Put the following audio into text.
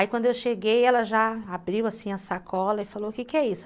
Aí, quando eu cheguei, ela já abriu assim a sacola e falou, o que é isso?